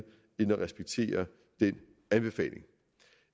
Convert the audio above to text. end at respektere den anbefaling